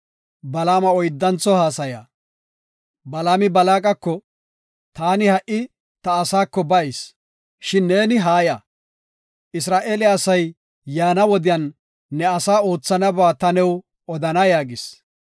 Balaami Balaaqako, “Taani ha77i ta asaako bayis; shin ne haaya; Isra7eele asay yaana wodiyan ne asaa oothanaba ta new odana” yaagis.